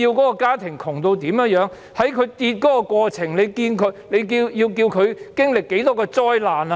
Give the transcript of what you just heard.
在家庭收入下跌的過程中，一家人要經歷多少災難？